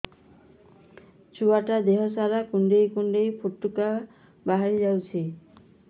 ଛୁଆ ଟା ଦେହ ସାରା କୁଣ୍ଡାଇ କୁଣ୍ଡାଇ ପୁଟୁକା ବାହାରି ଯାଉଛି